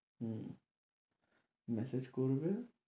হম message করবে